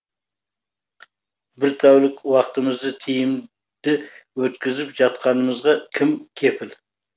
бір тәулік уақытымызды тиімді өткізіп жатқанымызға кім кепіл